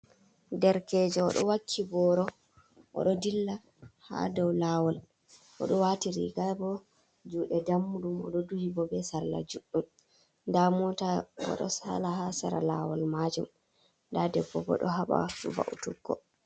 Derkeje o ɗo wakki boro, o ɗo dilla ha dou laawol. O ɗo waati riga bo juuɗe dammuɗum. O ɗo duhi bo be salla juɗɗum. Nda mota bo ɗo sala ha sera laawol maajum. Nda debbo bo ɗo haɓa va'utuggo.